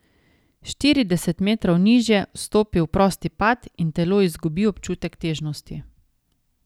Štirideset metrov nižje vstopi v prosti pad in telo izgubi občutek težnosti.